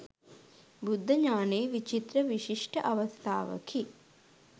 බුද්ධ ඥානයේ විචිත්‍ර විශිෂ්ට අවස්ථාවකි.